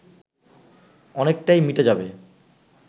অনেকটাই মিটে যাবে